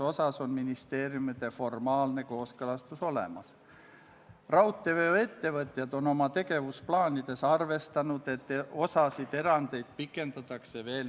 Muudatusettepanekute esitamise tähtajaks, mis oli k.a 9. oktoobril kell 17.15, ei esitatud eelnõu kohta ühtegi muudatusettepanekut.